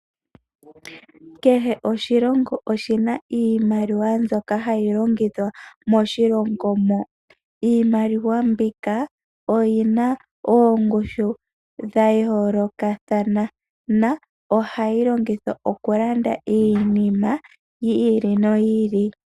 Kehe oshilongo oshina iimaliwa mbyoka hayi longithwa moshilongo mo. Iimaliwa mbika oyina oongushu dha yoolokathana na ohayi longithwa okulanda iinima yi ili noyi ili.